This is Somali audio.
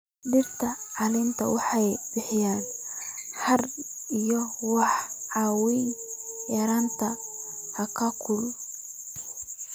Dhirta caleenta leh waxay bixiyaan hadh iyo waxay caawiyaan yareynta heerkulka.